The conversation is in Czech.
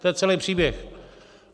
To je celý příběh.